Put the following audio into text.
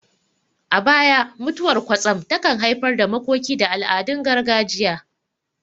A baya, mutuwar kwatsam takan haifar da makoki da al'adun gargajiya.